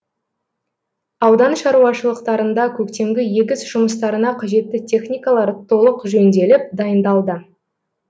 аудан шаруашылықтарында көктемгі егіс жұмыстарына қажетті техникалар толық жөнделіп дайындалды